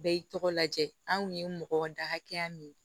Bɛɛ y'i tɔgɔ lajɛ anw ye mɔgɔ da hakɛya min ye